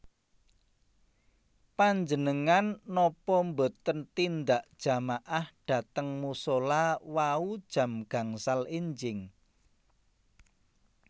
Panjenengan nopo mboten tindak jamaah dhateng musola wau jam gangsal enjing?